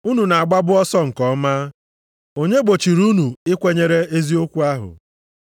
Unu na-agbabu ọsọ nke ọma, onye gbochiri unu ikwenyere eziokwu ahụ?